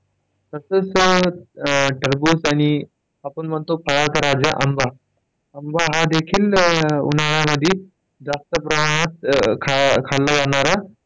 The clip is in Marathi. तसाच अं टरबूज आणि आपण म्हणतो फळांचा राजा आंबा, आंबा हा देखील उन्हाळ्यामध्ये जास्त प्रमाणात खाल्ला जाणारा.